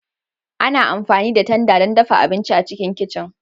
Ana amfani da tanda don dafa abinci a cikin kicin